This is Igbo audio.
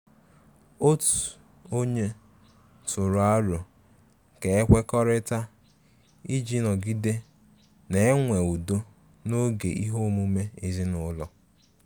Otu ọnye tụrụ aro ka e kwekọrịta iji nọgide na-enwe udo n'oge ihe omume ezinụlọ.